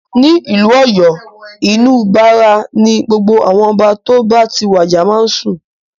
Ní ìlú Ọ̀yọ́, inú Bàrà ni gbogbo àwọn Ọba tó bá ti wàjà máa ń sùn.